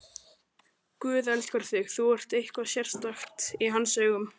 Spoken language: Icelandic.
Guð elskar þig, þú ert eitthvað sérstakt í hans augum.